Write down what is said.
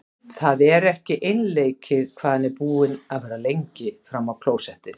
Það er ekki einleikið hvað hann er búinn að vera lengi frammi á klósetti!